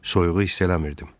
Soyuğu hiss eləmirdim.